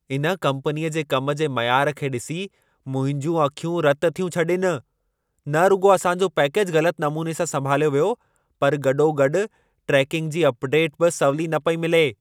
इन कम्पनीअ जे कम जे मयार खे ॾिसी, मुंहिंजूं अखियूं रत थियूं छॾीनि। न रुॻो असां जो पैकेजु ग़लत नमूने सां संभालियो वियो, पर गॾोगॾु ट्रेकिंग जी अपडेटु बि सवली न पई मिले।